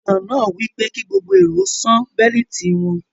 Ìfilọ̀ náà wípé ki gbogbo èrò ó sàn beliiti wọn